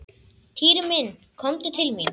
Týri minn komdu til mín.